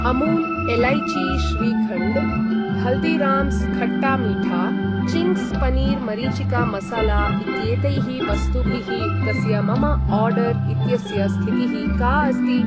Amul elaichi shrikhand, Haldiram's khatta meetha, Ching's paneer मरीचिका मसाला इत्येतैः वस्तुभिः युक्तस्य मम आर्डर् इत्यस्य स्थितिः का अस्ति?